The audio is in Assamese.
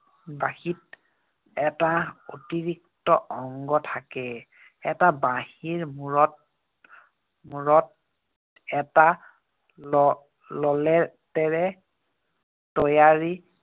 বাঁহীত এটা অতিৰিক্ত অংগ থাকে। এটা বাঁহীৰ মূৰত মূৰত এটা তৈয়াৰী